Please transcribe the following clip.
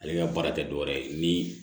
Ale ka baara tɛ dɔ wɛrɛ ye ni